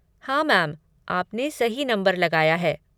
हाँ मैम, आपने सही नंबर लगाया है।